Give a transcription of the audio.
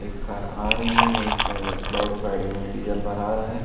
एक कार आ रही है एक फ्लोरे गाड़ी में डीजल भरा रहा हैं।